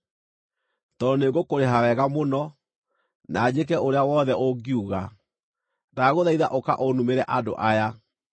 tondũ nĩngũkũrĩha wega mũno, na njĩke ũrĩa wothe ũngiuga. Ndagũthaitha ũka ũnumĩre andũ aya.”